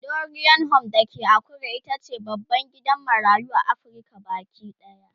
Dorian Home da ke Akure itace babban gidan marayu a Afrika Baki ɗaya